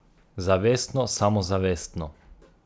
Zavestno samozavestno.